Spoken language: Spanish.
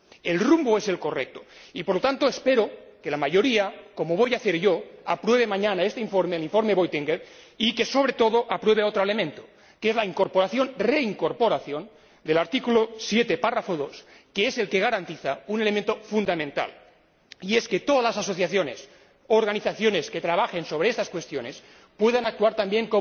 El rumbo es el correcto y, por lo tanto, espero que la mayoría, como voy a hacer yo, apruebe mañana este informe, el informe Buitenweg, y que, sobre todo, apruebe otro elemento, que es la incorporación —reincorporación— del artículo 7, apartado 2, que es el que garantiza un elemento fundamental que todas las asociaciones y organizaciones que trabajan sobre estas cuestiones, puedan actuar también